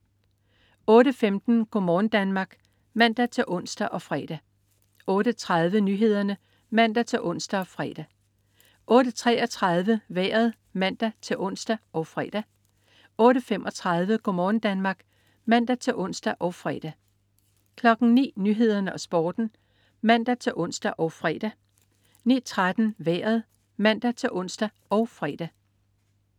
08.15 Go' morgen Danmark (man-ons og fre) 08.30 Nyhederne (man-ons og fre) 08.33 Vejret (man-ons og fre) 08.35 Go' morgen Danmark (man-ons og fre) 09.00 Nyhederne og Sporten (man-ons og fre) 09.13 Vejret (man-ons og fre)